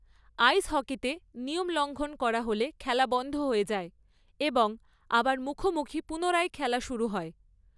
আইস হকিতে নিয়ম লঙ্ঘন করা হলে খেলা বন্ধ হয়ে যায় এবং আবার মুখোমুখি পুনরায় খেলা শুরু হয়।